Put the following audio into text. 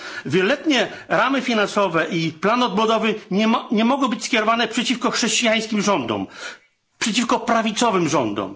Wieloletnie ramy finansowe i plan odbudowy nie mogą być skierowane przeciwko chrześcijańskim rządom, przeciwko prawicowym rządom.